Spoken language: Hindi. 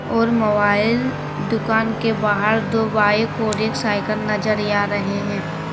और मोबाइल दुकान के बाहर दो बाइक और एक साइकिल नजरिया रहे हैं।